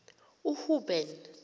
uhuben